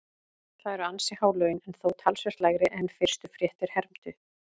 Það eru ansi há laun en þó talsvert lægri en fyrstu fréttir hermdu.